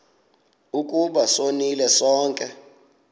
ukuba sonile sonke